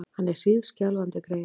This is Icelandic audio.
Hann er hríðskjálfandi, greyið!